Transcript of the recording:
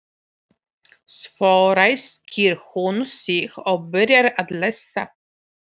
Svo ræskir hún sig og byrjar að lesa.